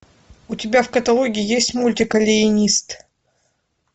у тебя в каталоге есть мультик алиенист